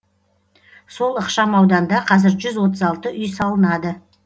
сол ықшам ауданда қазір жүз отыз алты үй салынады